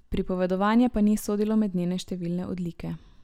Pripovedovanje pa ni sodilo med njene številne odlike.